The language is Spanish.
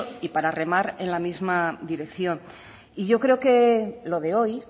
y para remar en la misma dirección y yo creo que lo de hoy